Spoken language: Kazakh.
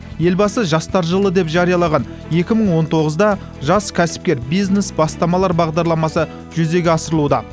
елбасы жастар жылы деп жариялаған екі мың он тоғызда жас кәсіпкер бизнес бастамалар бағдарламасы жүзеге асырылуда